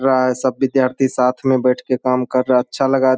रहा है सब विद्यार्थी साथ मैं बैठ के काम कर रहा हैं अच्छा लगा --